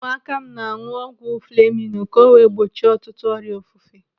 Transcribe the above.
Ụmụaka m na-anụ ọgwụ fleminu ka o wee gbochie ọtụtụ ọrịa ofufe.